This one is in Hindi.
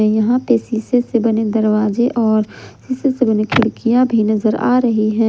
यहां पे शीशे से बने दरवाजे और शीशे से बने खिड़कियां भी नजर आ रही है।